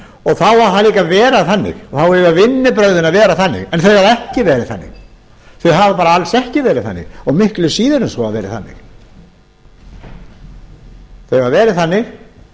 og það á líka að vera þannig en þau hafa ekki verið þannig þau hafa bara alls ekki verið þannig og miklu síður en svo verið þannig þau hafa verið þannig